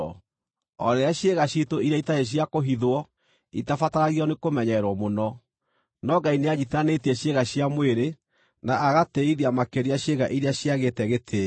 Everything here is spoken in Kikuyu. o rĩrĩa ciĩga ciitũ iria itarĩ cia kũhithwo itabataragio nĩkũmenyererwo mũno. No Ngai nĩanyiitithanĩtie ciĩga cia mwĩrĩ na agatĩĩithia makĩria ciĩga iria ciagĩte gĩtĩĩo,